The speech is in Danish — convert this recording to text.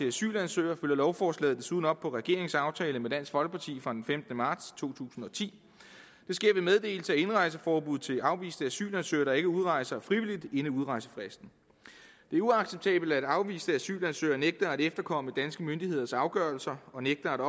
asylansøgere følger lovforslaget desuden op på regeringens aftale med dansk folkeparti fra den femtende marts to tusind og ti det sker ved meddelelse af indrejseforbud til afviste asylansøgere der ikke udrejser frivilligt inden udrejsefristen det er uacceptabelt at afviste asylansøgere nægter at efterkomme danske myndigheders afgørelser og nægter at